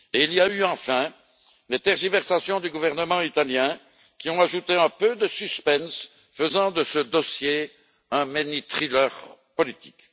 Il y a eu enfin les tergiversations du gouvernement italien, qui ont ajouté un peu de suspense, faisant de ce dossier un mini thriller politique.